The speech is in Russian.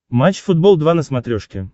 матч футбол два на смотрешке